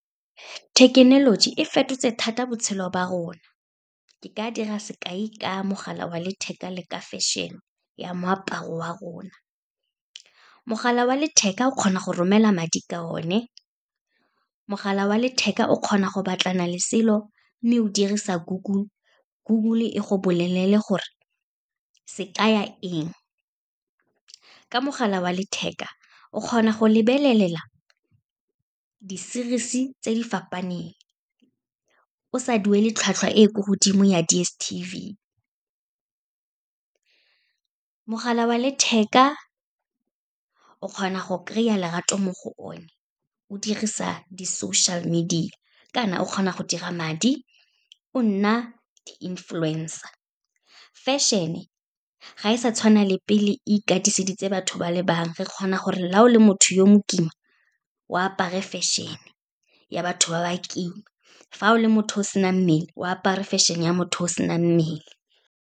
Thekenoloji e fetotse thata botshelo ba rona, ke ka dira sekai ka mogala wa letheka le ka fashion-e ya moaparo wa rona. Mogala wa letheka o kgona go romela madi ka o ne, mogala wa letheka o kgona go batlana le selo, mme o dirisa Google, Google e go bolelele gore se kaya eng. Ka mogala wa letheka, o kgona go lebelelela di-series-e tse di fapaneng, o sa duele tlhwatlhwa e ko godimo ya DSTV. Mogala wa letheka, o kgona go kry-a lerato mo go o ne, o dirisa di-social media, kana o kgona go dira madi, o nna di-influencer. Fashion-e, ga e sa tshwana le pele ikatiseditse batho ba le bangwe, re kgona gore la o le motho yo mokima, o apare fashion-e ya batho ba ba kima, fa o le motho o senang mmele, o apare fashion-e ya motho o senang mmele.